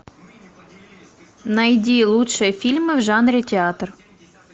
найди лучшие фильмы в жанре театр